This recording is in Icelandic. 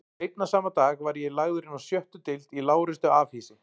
Seinna sama dag var ég lagður inná sjöttu deild í lágreistu afhýsi